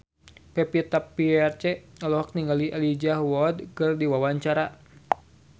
Pevita Pearce olohok ningali Elijah Wood keur diwawancara